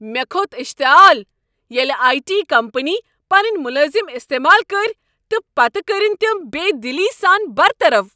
مےٚ کھوٚت اشتعال ییٚلہ آیی ٹی کمپنی پنٕنۍ ملازم استعمال کٔرۍ تہٕ پتہٕ کٔرنۍ تم بےٚ دلی سان برطرف